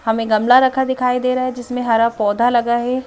हमें गमला रखा दिखाई दे रहा है जिसमें हरा पौधा लगा है ।